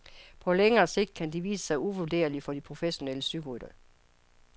På længere sigt kan de vise sig uvurderlige for de professionelle cykelryttere.